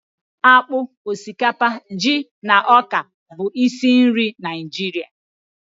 Akpụ, osikapa, ji na ọka bụ isi nri Naịjirịa